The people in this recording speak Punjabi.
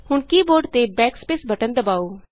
ਹੁਣ ਕੀ ਬੋਰਡ ਤੇ Backspace ਬਟਨ ਦਬਾਉ